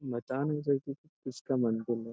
बता नहीं सकते किसका मंदिर है।